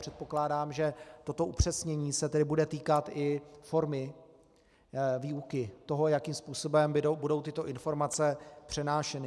Předpokládám, že toto upřesnění se tedy bude týkat i formy výuky toho, jakým způsobem budou tyto informace přenášeny.